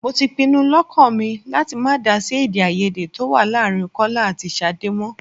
Mo ti pinu lọ́kàn mi láti má dá sí èdè-áiyedé tó wà láàárín Kọ́lá àti Ṣadé mọ́.